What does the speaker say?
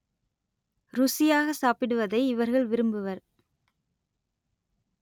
ருசியாக சாப்பிடுவதை இவர்கள் விரும்புவர்